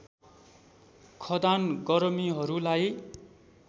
खदान गरमीहरूलाई